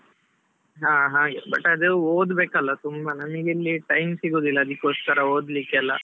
ಹಾ ಹಾಗೆ, but ಅದು ಓದ್ಬೇಕಲ್ವಾ ತುಂಬಾ, ನನಿಗಿಲ್ಲಿ time ಸಿಗುದಿಲ್ಲ ಅದಿಕೋಸ್ಕರಾ ಓದ್ಲಿಕ್ಕೆಲ್ಲಾ.